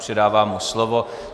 Předávám mu slovo.